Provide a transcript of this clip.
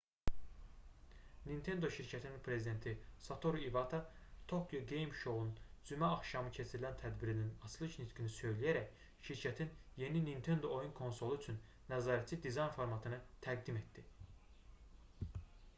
nintendo şirkətinin prezidenti satoru ivata tokyo game show"nun cümə axşamı keçirilən tədbirinin açılış nitqini söyləyərək şirkətin yeni nintendo oyun konsolu üçün nəzarətçi dizayn formatını təqdim etdi